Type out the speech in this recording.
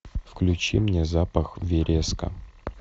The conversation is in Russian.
включи мне запах вереска